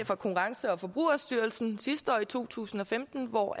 fra konkurrence og forbrugerstyrelsen sidste år i to tusind og femten hvor